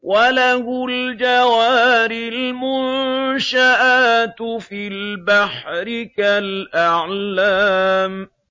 وَلَهُ الْجَوَارِ الْمُنشَآتُ فِي الْبَحْرِ كَالْأَعْلَامِ